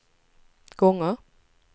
gånger